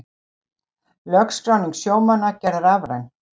Lögskráning sjómanna gerð rafræn